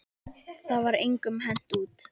Það var engum hent út.